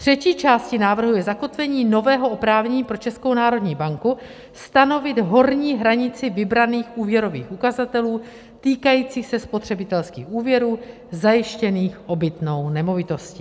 Třetí částí návrhu je zakotvení nového oprávnění pro Českou národní banku stanovit horní hranici vybraných úvěrových ukazatelů týkajících se spotřebitelských úvěrů zajištěných obytnou nemovitostí.